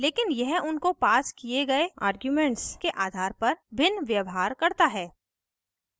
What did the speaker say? लेकिन यह उनको passed किये गए आर्ग्यूमेंट्स के आधार पर भिन्न व्यवहार करता है